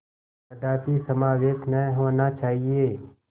कदापि समावेश न होना चाहिए